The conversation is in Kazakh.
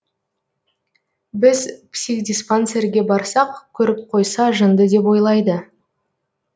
біз психдиспансерге барсақ көріп қойса жынды деп ойлайды